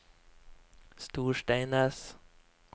Storsteinnes